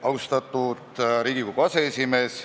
Austatud Riigikogu aseesimees!